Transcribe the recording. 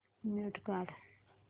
mute काढ